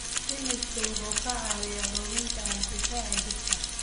Isbaanishku wuxuu ka caawiyaa xoojinta hab-difaaca jidhka.